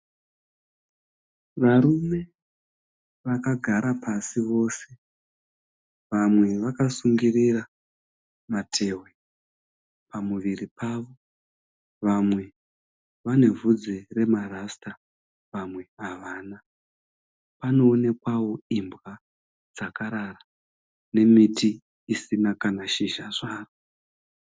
Varume vakagara pasi vose vamwe vakasungirira matehwe pamuviri pavo. vamwe vane bvudzi remarasita, vamwe havana. Panoonekwa imbwa dzakarara nemiti isina kana shizha zvaro.